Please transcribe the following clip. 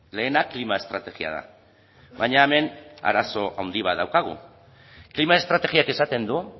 lehena klima estrategia da baina hemen arazo handi bat daukagu klima estrategiak esaten du